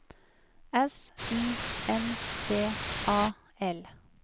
S U N D A L